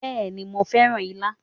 Bẹ́ẹ̀ni, mo fẹ́ràn á ilá.